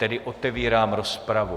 Tedy otevírám rozpravu.